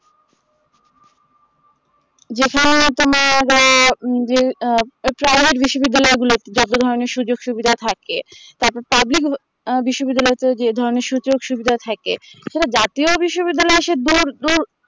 যেখানে তোমার উম যে আ বিশ্ববিদ্যালয় গুলোতে যাদের মানে সুযোগ সুবিধা থাকে তারপর পাবলিক আ বিশ্ববিদ্যালয় তে যে ধরনের সুযোগ সুবিধা থাকে সেটা জাতীয় বিশ্ববিদ্যালয় আসে দূর দূর